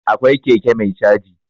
Akwai keke mai caji.